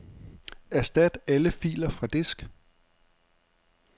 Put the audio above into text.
Erstat alle filer fra disk.